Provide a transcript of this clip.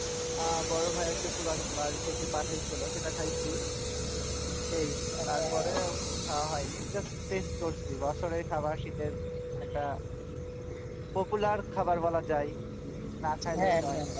আহ বড়ো ভাইয়ার শশুর বাসা বাড়ি থেকে পাঠায়ছিল সেটা খাইছি এই তারপরে খাওয়া হয়নি just taste করছি বছরের খাবার শীতের একটা popular খাবার বলা যায় না খাইলেই নয়।